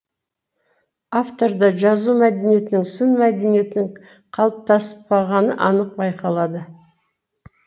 авторда жазу мәдениетінің сын мәдениетінің қалыптаспағаны анық байқалады